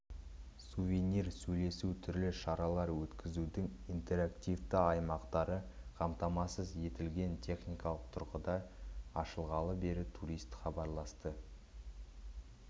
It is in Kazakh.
сувенир сөйлесу түрлі шаралар өткізудің интерактивті аймақтары қамтамасыз етілген техникалық тұрғыда ашылғалы бері турист хабарласты